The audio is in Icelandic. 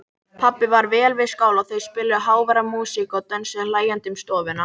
Pabbi var vel við skál og þau spiluðu háværa músík og dönsuðu hlæjandi um stofuna.